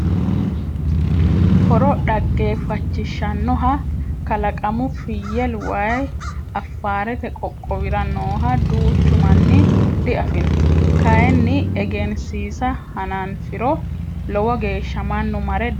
Horo dhaggefachishanoha kalaqamu fiyel waayi Afaarete qoqqowira nooha duuchu manni diafino kayinni egensiisa hananfiro lowo geeshsha mannu marre daa"attanoha ikka dandaano.